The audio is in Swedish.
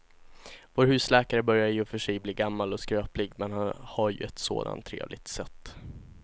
Vår husläkare börjar i och för sig bli gammal och skröplig, men han har ju ett sådant trevligt sätt!